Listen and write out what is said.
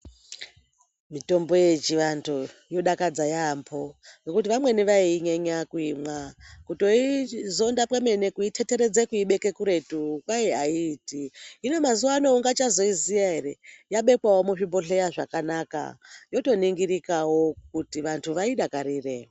Mitombo yechivanthu yodakadza yaampho. Ngekuti vamweni vaiinyenya kuimwa. Kutoizonda kwemene kuithetheredza kuibeke kuretu kwai aiiti. Hino mazuwa ano ungachazoiziya ere, yabekwawo muzvibhodhleya zvakanaka yotoningirikawo kuti vanthu vaidakarire.